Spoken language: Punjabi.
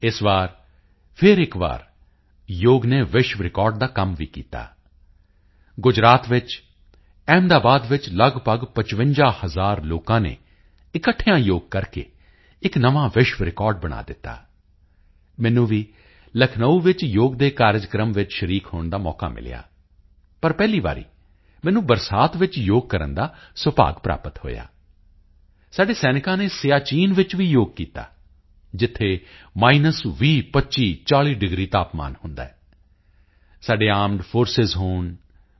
ਇਸ ਵਾਰ ਫਿਰ ਇੱਕ ਵਾਰੀ ਯੋਗ ਨੇ ਵਿਸ਼ਵ ਰਿਕਾਰਡ ਦਾ ਵੀ ਕੰਮ ਕੀਤਾ ਗੁਜਰਾਤ ਵਿੱਚ ਅਹਿਮਦਾਬਾਦ ਵਿੱਚ ਲਗਭਗ 55 ਹਜ਼ਾਰ ਲੋਕਾਂ ਨੇ ਇਕੱਠੇ ਯੋਗ ਕਰਕੇ ਇੱਕ ਨਵਾਂ ਵਿਸ਼ਵ ਰਿਕਾਰਡ ਬਣਾ ਦਿੱਤਾ ਮੈਨੂੰ ਵੀ ਲਖਨਊ ਵਿੱਚ ਯੋਗ ਦੇ ਕਾਰਜਕ੍ਰਮ ਵਿੱਚ ਸ਼ਰੀਕ ਹੋਣ ਦਾ ਮੌਕਾ ਮਿਲਿਆ ਪਰ ਪਹਿਲੀ ਵਾਰੀ ਮੈਨੂੰ ਬਰਸਾਤ ਵਿੱਚ ਯੋਗ ਕਰਨ ਦਾ ਸੁਭਾਗ ਪ੍ਰਾਪਤ ਹੋਇਆ ਸਾਡੇ ਸੈਨਿਕਾਂ ਨੇ ਸਿਆਚਿਨ ਵਿੱਚ ਵੀ ਯੋਗ ਕੀਤਾ ਜਿੱਥੇ ਮਾਈਨਸ 20 25 40 ਡਿਗਰੀ ਤਾਪਮਾਨ ਹੁੰਦਾ ਹੈ ਸਾਡੇ ਆਰਮਡ ਫੋਰਸਿਸ ਹੋਣ ਬੀ